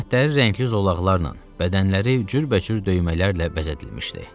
Sifətləri rəngli zolaqlarla, bədənləri cürbəcür döymələrlə bəzədilmişdi.